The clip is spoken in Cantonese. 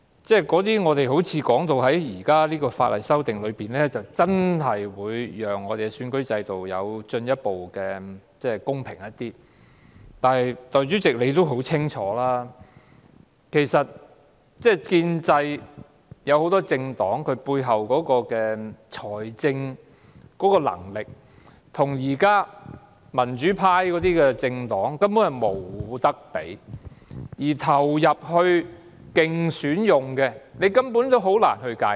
大家說到現在的法例修訂好像真的會讓我們的選舉制度更公平，但代理主席，你也很清楚知道建制派很多政黨背後的財力，現在的民主派政黨根本無法與之相比，而投入競選的開支亦根本難以界定。